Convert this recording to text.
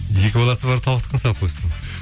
екі баласы бар тауықтікін салып қойыпсың